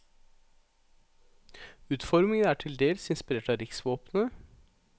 Utformningen er til dels inspirert av riksvåpenet.